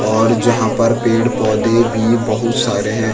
और जहाँ पर पेड़-पौधे भी बहोत सारे हैं।